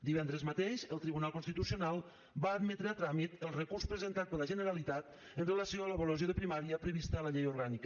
divendres mateix el tribunal constitucional va admetre a tràmit el recurs presentat per la generalitat amb relació a l’avaluació de primària prevista a la llei orgànica